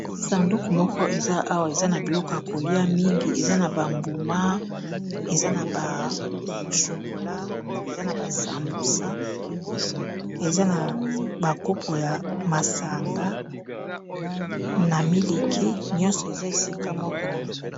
Sanduku moko eza awa eza na biloko ya kolia mingi eza na bambuma eza na bashokola eza na basambusa eza na bakupu ya masanga na miliki nyonso eza esika moko.